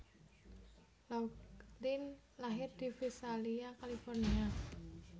Laughlin lahir di Visalia California